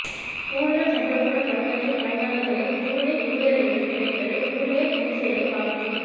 கூடுதல் சம்பளத்துடன் பணியாற்றும் பணியாளர்களை கூடுதல் ஊழியர்களிடம் கேட்பது ஊழியர் மோசேலை பாதிக்கும்